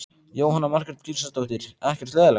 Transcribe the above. Jóhanna Margrét Gísladóttir: Ekkert leiðinlegt?